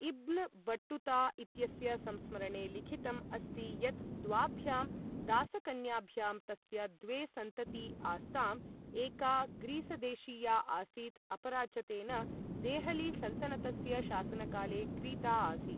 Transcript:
इब्न Battuta इत्यस्य संस्मरणे लिखितम् अस्ति यत् द्वाभ्यां दासकन्याभ्यां तस्य द्वे सन्तती आस्तां, एका ग्रीसदेशीया आसीत्, अपरा च तेन, देहली सलतनतस्य शासनकाले क्रीता आसीत्।